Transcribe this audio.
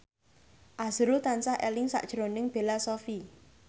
azrul tansah eling sakjroning Bella Shofie